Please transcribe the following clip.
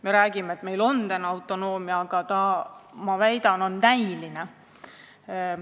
Me räägime, et meil on autonoomia, aga ma väidan, et see on näiline.